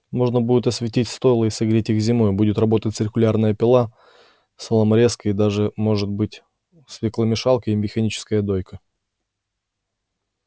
можно будет осветить стойла и согреть их зимой будет работать циркулярная пила соломорезка и даже может быть свекломешалка и механическая дойка